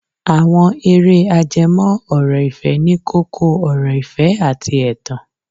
Àwọn eré ajẹmọ́ ọ̀rọ̀ ìfẹ́ ní kókó ọ̀rọ̀ ìfẹ́ àti ẹ̀tàn.